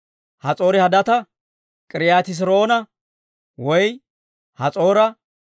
Has'oori-Hadaata, K'iriyooti-Hes'iroona woy Has'oora,